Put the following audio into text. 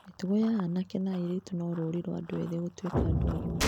Mĩtugo ya anake na airĩtu no rũri rwa andũ ethĩ gũtuĩka andũ agima.